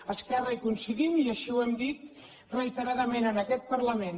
a esquerra hi coincidim i així ho hem dit reiteradament en aquest parlament